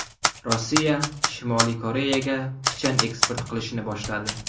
Rossiya Shimoliy Koreyaga pichan eksport qilishni boshladi.